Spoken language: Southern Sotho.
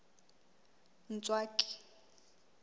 ntswaki